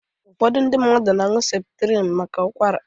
Ụfọdụ ndị mmadụ na-añu Seputrinu maka Ụkwara.